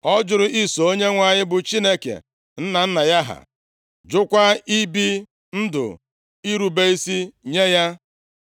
Ọ jụrụ iso Onyenwe anyị, bụ Chineke nna nna ya ha, jụkwa ibi ndụ irube isi nye ya.